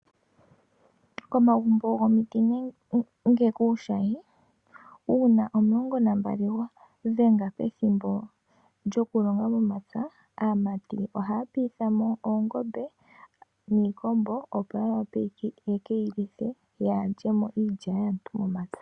Komagumbo gomiti nenge kuushayi uuna omulongo nambali gwa dhenge goku longa. Aamati ohaya piithamo oongombe niikombo opo yekeyi lithe yaa lyemo iilya yaantu momapya.